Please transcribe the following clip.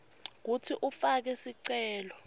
kutsi ufake sicelo